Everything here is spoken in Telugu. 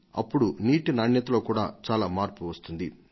అప్పుడు నీటి నాణ్యతలో కూడా ఎంతో మార్పు వస్తుంది